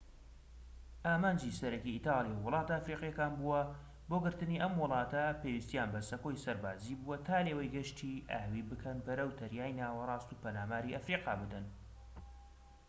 ئامانجی سەرەکیی ئیتاڵیا وڵاتە ئەفریقیەکان بووە بۆ گرتنی ئەم وڵاتانە پێویستیان بە سەکۆی سەربازیی بووە تا لێوەی گەشتی ئاوی بکەن بەرەو دەریای ناوەراست و پەلاماری ئەفریقا بدەن